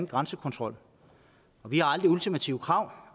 grænsekontrol vi har aldrig ultimative krav